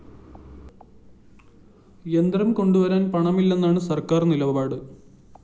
യന്ത്രം കൊണ്ടുവരാന്‍ പണമില്ലെന്നാണ് സര്‍ക്കാര്‍ നിലപാട്